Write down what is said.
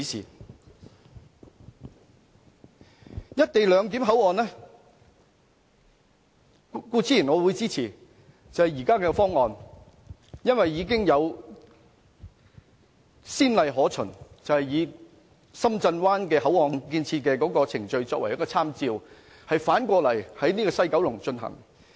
就"一地兩檢"口岸，我固然會支持現時的方案，因為已有先例可循，以深圳灣口岸的建設程序作為參照，反過來在西九龍進行。